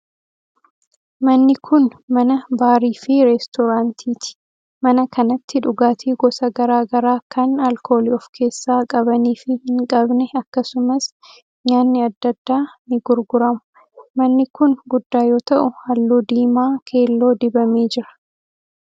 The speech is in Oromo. Manni kun, mana baarii fi reestoraaantiiti. Mana kanatti dhugaatii gosa garaa garaa kan alkoolii of keessaa qabanii fi hin qabne akkasumas nyaanni adda addaa ni gurguramu. Manni kun, guddaa yoo ta'u, haalluu diimaa keelloo dibamee jira.